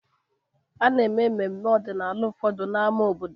A na-eme mmemme ọdịnala ụfọdụ na n'ámá obodo.